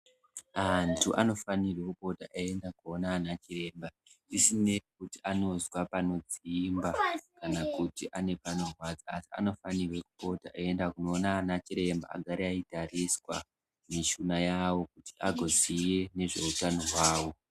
Antu anofanirwa kupota einda koona ana chiremba zvisinei kuti anozwa panodzimba kana kuti ane panorwadza, anofanirwa kupota eienda koona ana chiremba agare eitariswa mishuna yavo agoziye nezve utano hwavo.